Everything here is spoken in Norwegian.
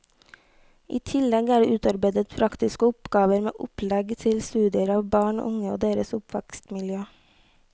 I tillegg er det utarbeidet praktiske oppgaver med opplegg til studier av barn og unge og deres oppvekstmiljø.